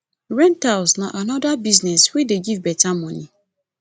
rentals na another business wey dey give better money